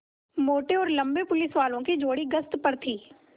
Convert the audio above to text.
मोटे और लम्बे पुलिसवालों की जोड़ी गश्त पर थी